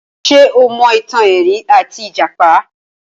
Ṣé o mọ ìtàn erin àti ìjàpá?